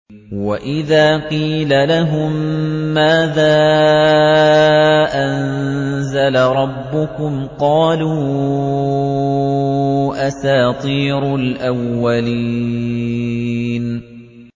وَإِذَا قِيلَ لَهُم مَّاذَا أَنزَلَ رَبُّكُمْ ۙ قَالُوا أَسَاطِيرُ الْأَوَّلِينَ